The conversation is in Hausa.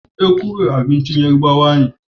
Ekuru tasa ce ta Yarabawa.